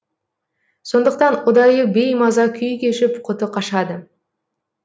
сондықтан ұдайы беймаза күй кешіп құты қашады